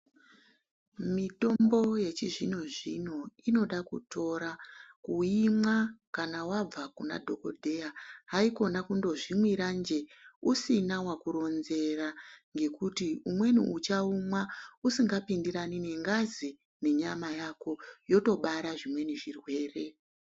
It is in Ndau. Mitombo yechizvino-zvino inoda kutora kuimwa kana vabva kunadhogodheya. Haikona kundozvimwiranjee usina vakuronzera ngekuti umweni uchaumwa usinga pindirani nengazi nenyama yako, yotobara zvimweni zvirwere.